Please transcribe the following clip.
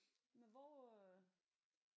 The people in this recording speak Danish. Men hvor øh